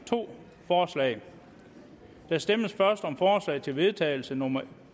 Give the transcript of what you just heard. to forslag der stemmes først om forslag til vedtagelse nummer